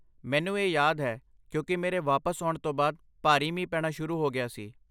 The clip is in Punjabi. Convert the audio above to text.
ਮੈਨੂੰ ਇਹ ਯਾਦ ਹੈ, ਕਿਉਂਕਿ ਮੇਰੇ ਵਾਪਸ ਆਉਣ ਤੋਂ ਬਾਅਦ ਭਾਰੀ ਮੀਂਹ ਪੈਣਾ ਸ਼ੁਰੂ ਹੋ ਗਿਆ ਸੀ।